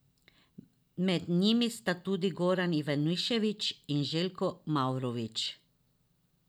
Med njimi sta tudi Goran Ivanišević in Željko Mavrović.